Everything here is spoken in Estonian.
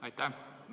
Aitäh!